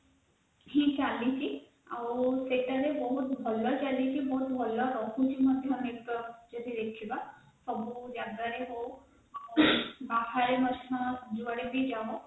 ହି ଚାଲିଛି ସେଠାରେ ବହୁତ ଭଲ ହି ଚାଲିଛି ସେତା ବି ବହୁତ ଭଲ ହି ଚାଲିଛି ବହୁତ ଭଲ ମଧ୍ୟ ଯଦି ଦେଖିବା network ସବୁ ଜାଗାରେ ହଉ ବାହାରେ ମଧ୍ୟ ଯୁଆଡେ ବି ଯାଅ